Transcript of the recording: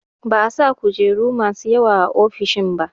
Ba'a sa kujeru masu yawa a ofishin ba